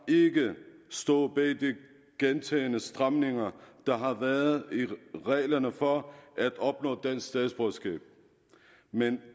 ikke stået bag de gentagne stramninger der har været i reglerne for at opnå dansk statsborgerskab men